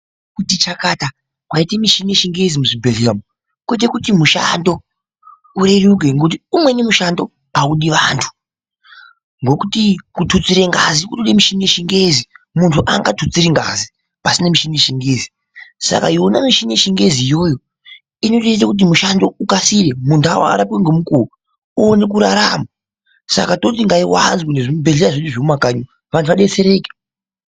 Kuti chakata kwaite michini yechingezi muzvibhehlera umu kuite kuti mushando ureruke ngekuti umweni mushando audi vantu ngokuti kututsire ngazi kunode michini yechingezi munhu aanga tutsiri ngazi pasina michini yechingezi saka yona michini yechingezi iyoyo inotoite kuti mushando ukasire, mundau arapwe ngemukuwo oone kurarama saka toti ngaiwanzwe nemuzvibhehlera zvedu zvemumakanyi umu antu adetsereke.